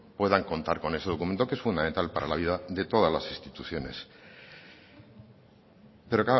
puedan contar con ese documento que es fundamental para la vida de todas las instituciones pero